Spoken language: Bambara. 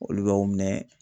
Olu b'aw minɛ